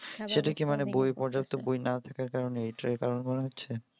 সেটা কি মানে পর্যাপ্ত বই না থাকার কারণে এইটার কারণ মনে হচ্ছে?